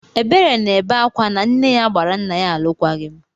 Ebere na-ebe ákwá na nne ya gbara nna ya alụkwaghịm.